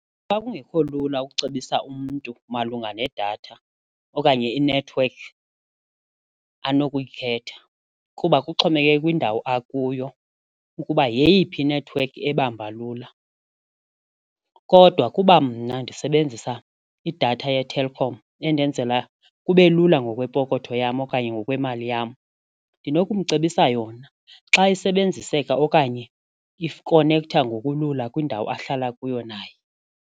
Xa kungekho lula ukucebisa umntu malunga nedatha okanye inethiwekhi anokuyithetha kuba kuxhomekeke kwindawo akuyo ukuba yeyiphi inethiwekhi ebamba lula. Kodwa kuba mna ndisebenzisa idatha yeTelkom endenzela kube lula ngokwepokotho yam okanye ngokwemali yam, ndinokumcebisa yona xa isebenziseka okanye ikonektha ngokulula kwindawo ahlala kuyo naye.